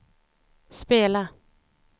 spela